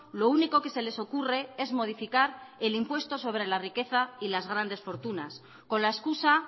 lo único que se les ocurre es modificar el impuesto sobre la riqueza y las grandes fortunas con la excusa